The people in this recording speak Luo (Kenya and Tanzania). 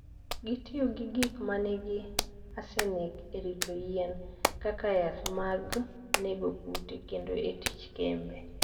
Gitiyo gi gik ma nigi arsenic e rito yien, kaka yath mag nego kute, kendo e tich kembe.